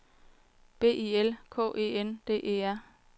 B I L K E N D E R